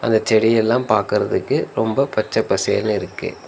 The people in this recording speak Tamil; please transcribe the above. இந்த செடியெல்லா பாக்குறதுக்கு ரொம்ப பச்ச பசேல்னு இருக்கு.